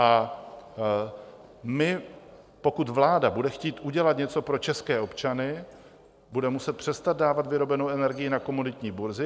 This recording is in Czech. A my, pokud vláda bude chtít udělat něco pro české občany, bude muset přestat dávat vyrobenou energii na komoditní burzy.